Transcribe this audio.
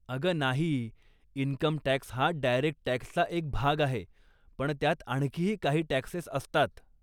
अगं नाही, इन्कमटॅक्स हा डायरेक्ट टॅक्सचा एक भाग आहे, पण त्यात आणखीही काही टॅक्सेस असतात.